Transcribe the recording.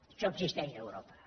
això existeix a europa